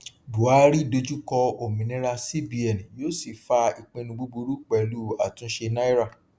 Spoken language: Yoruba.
buhari dojú kọ òmìnira cbn yó sì fa ipinnu búburú pẹlú àtúnṣe náírà